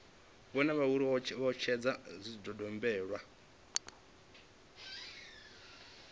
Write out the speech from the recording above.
vhone uri vho etshedza zwidodombedzwa